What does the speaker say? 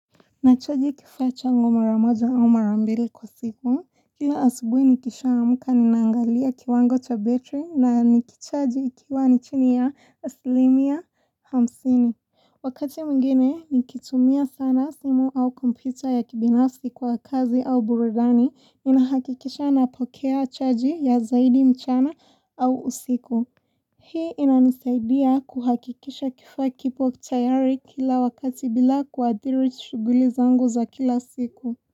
Na chaji kifaa changu maramoja au marambili kwa siku, kila asubuhi nikisha amka ni naangalia kiwango cha battery na nikichaji ikiwa ni chini ya aslimia hamsini. Wakati mwingine nikitumia sana simu au kompyuta ya kibinafsi kwa kazi au burudani, ninahakikisha na pokea chaji ya zaidi mchana au usiku. Hii inanisaidia kuhakikisha kifaa kipo tayari kila wakati bila kuathiri shughuli zangu za kila siku.